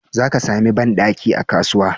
Zaka sami banɗaki a kasuwa.